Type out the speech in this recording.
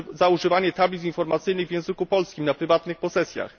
używanie tablic informacyjnych w języku polskim na prywatnych posesjach.